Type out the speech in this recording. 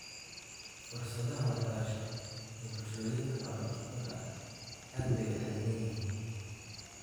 Fursadaha waxbarasho ee bulshooyinka xoolo-dhaqatada ah aad bay u xaddidan yihiin.